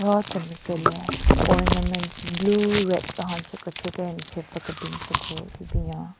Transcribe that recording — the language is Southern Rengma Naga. Ro temi güle ornaments blue red tsü honche kethyu pe nthen pvu kebin tsü ku hyu binyon.